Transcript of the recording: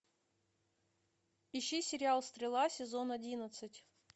ищи сериал стрела сезон одиннадцать